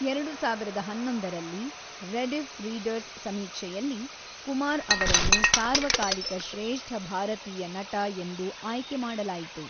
ಎರಡು ಸಾವಿರದ ಹನ್ನೊಂದರಲ್ಲಿ ರೆಡಿಫ್ ರೀಡರ್ಸ್ ಸಮೀಕ್ಷೆಯಲ್ಲಿ ಕುಮಾರ್ ಅವರನ್ನು ಸಾರ್ವಕಾಲಿಕ ಶ್ರೇಷ್ಠ ಭಾರತೀಯ ನಟ ಎಂದು ಆಯ್ಕೆಮಾಡಲಾಯಿತು.